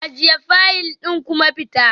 Ajiye fayil ɗin kuma fita